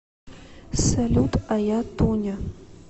салют а я тоня